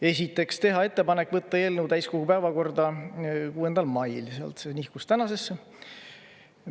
Esiteks, teha ettepanek võtta eelnõu täiskogu päevakorda 6. mail, see nihkus tänasesse.